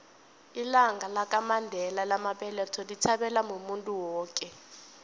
ilanga lamandela lamabeletho lithabelwa muntu woke